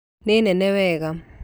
Nĩ nene wega